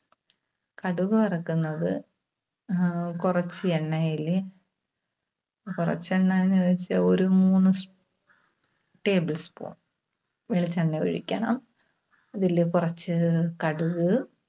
കടുക് വറക്കുന്നത് ആഹ് കുറച്ച് എണ്ണയില്, കുറച്ച് എണ്ണ എന്നുചോദിച്ചാൽ, ഒരു മൂന്ന് tablespoon വെളിച്ചെണ്ണ ഒഴിക്കണം. ഇതില് കുറച്ച് കടുക്,